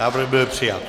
Návrh byl přijat.